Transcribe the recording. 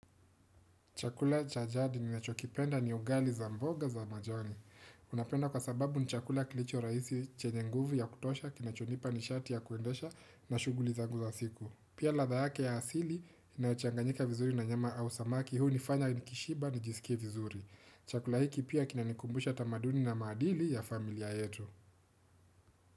Chakula cha jadi ninachokipenda ni ugali za mboga za majani. Unapenda kwa sababu ni chakula kilicho rahisi chenye nguvu ya kutosha, kinachonipa ni shati ya kuendesha na shuguli zangu za siku. Pia radha yake ya asili, inayochanganyika vizuri na nyama au samaki, huunifanya nikishiba nijisikievizuri. Chakula hiki pia kinanikumbusha tamaduni na madili ya familia yetu.